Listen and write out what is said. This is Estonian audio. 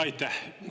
Aitäh!